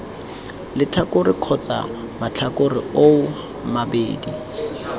letlhakore kgotsa matlhakore oo mabedi